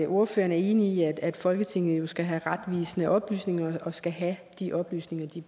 ordføreren er enig i at folketinget skal have retvisende oplysninger og skal have de oplysninger